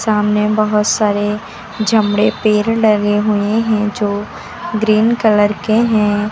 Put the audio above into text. सामने बहुत सारे चमड़े पेर लगे हुए है जो ग्रीन कलर के है।